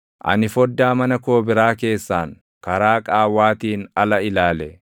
Ani foddaa mana koo biraa keessaan, karaa qaawwaatiin ala ilaale.